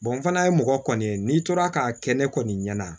fana ye mɔgɔ kɔni ye n'i tora k'a kɛ ne kɔni ɲɛna